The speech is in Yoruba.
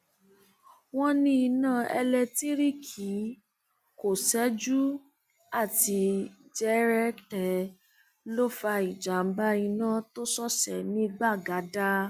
wọn ní iná elétíríìkì tó ṣẹjú àti jẹrẹtẹ ló fa ìjàmbá iná tó ṣọṣẹ ní gbagada